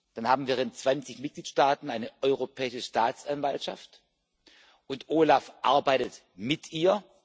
Dann haben wir in 20 Mitgliedstaaten eine Europäische Staatsanwaltschaft, und das OLAF arbeitet mit ihr.